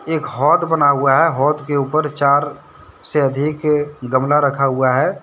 एक होद बना हुआ है होद के ऊपर चार से अधिक गमला रखा हुआ है।